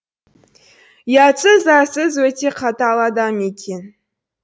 ұятсыз арсыз өте қатал адам екен